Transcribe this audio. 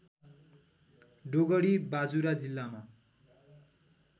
डोगडी बाजुरा जिल्लामा